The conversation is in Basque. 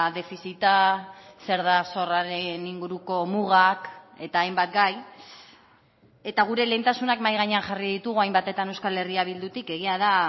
defizita zer da zorraren inguruko mugak eta hainbat gai eta gure lehentasunak mahai gainean jarri ditugu hainbatetan euskal herria bildutik egia da